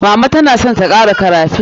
Mama ta na son ta kara kara stockfish.